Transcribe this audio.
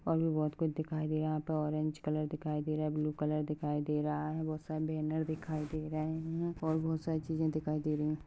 और भी बहुत कुछ दिखाई दे रहा है यहाँ पे औरेंज कलर दिखाई दे रहा है ब्लू कलर दिखाई दे रहा है बहुत सारे बॅनर दिखाई दे रहे है और बहुत सारी चीजे दिखाई दे रहि।